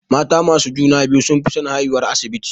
Mata masu juna-biyu sunfi son haihuwar asibiti.